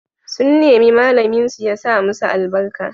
Sun nemi malaminsu ya sa musu albarka.